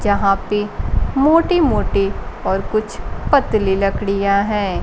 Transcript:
जहां पे मोटे-मोटे और कुछ पतले लकड़ियां हैं।